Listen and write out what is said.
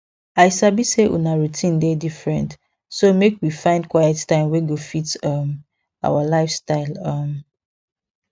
i sabi say una routine dey different so make we find quiet time wey go fit um our lifestyle um